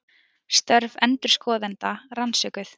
Störf endurskoðenda rannsökuð